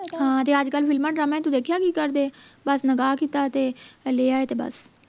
ਹਾਂ ਤੇ ਅੱਜਕਲ ਫ਼ਿਲਮਾਂ ਡਰਾਮਿਆਂ ਚ ਤੂੰ ਦੇਖਿਆ ਕਿ ਕਰਦੇ ਆ ਬਸ ਨਿਕਾਹ ਕੀਤਾ ਤੇ ਲੈ ਆਏ ਤੇ ਬਸ